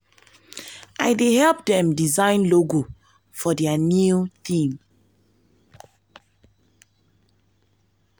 i dey help dem design logo for their new theme